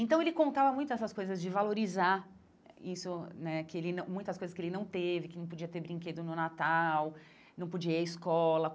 Então, ele contava muito essas coisas de valorizar isso né que ele não, muitas coisas que ele não teve, que não podia ter brinquedo no Natal, não podia ir à escola.